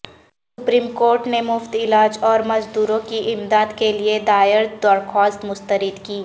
supreme court نے مفت علاج اور مزدوروں کی امدادکے لیے دائردرخواست مستردکی